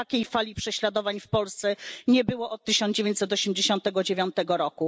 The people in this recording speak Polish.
Takiej fali prześladowań w Polsce nie było od 1989 r.